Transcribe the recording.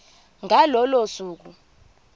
ngalo lolo suku